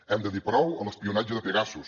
hem de dir prou a l’espionatge de pegasus